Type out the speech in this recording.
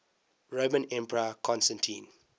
roman emperor constantine